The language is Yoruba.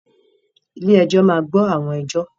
Ilé-ẹjọ́ máa gbọ́ àwọn ẹjọ́.